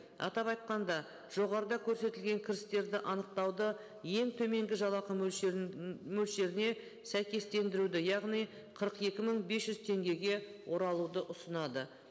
атап айтқанда жоғарыда көрсетілген кірістерді анықтауды ең төменгі жалақы мөлшерін м мөлшеріне сәйкестендіруді яғни қырық екі мың бес жүз теңгеге оралуды ұсынады